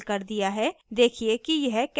देखिए कि यह कैसा दिखना चाहिए